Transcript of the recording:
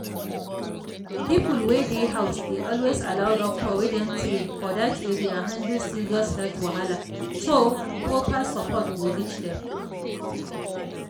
people wey dey house dey always allow doctor wey don train for that area handle serious health wahala so proper support go reach them.